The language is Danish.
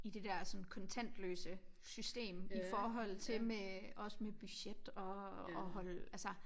I det der sådan kontantløse systemt i forhold til med også med budget og holde altså